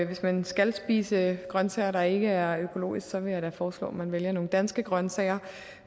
hvis man skal spise grønsager der ikke er økologiske så vil jeg da foreslå at man vælger nogle danske grønsager